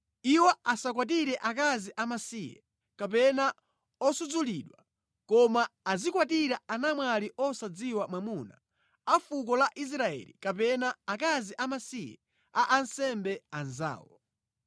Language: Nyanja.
Iwo asakwatire akazi amasiye kapena osudzulidwa; koma azikwatira anamwali osadziwa mwamuna a fuko la Israeli kapena akazi amasiye a ansembe anzawo.